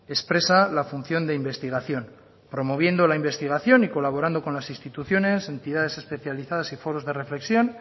expresa la función de investigación promoviendo la investigación y colaborando con las instituciones entidades especializadas y foros de reflexión